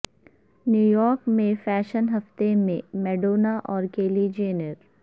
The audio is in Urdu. نیویارک میں فیشن ہفتہ میں میڈونا اور کیلی جینیر